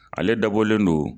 Ale dabɔlen don